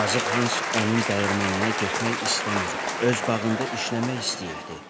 Yazıq Hans onun dəyirmanına getmək istəmir, öz bağında işləmək istəyirdi.